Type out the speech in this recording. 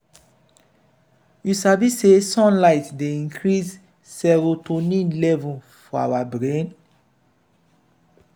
you sabi sey sunlight dey increase serotonin levels for our brain?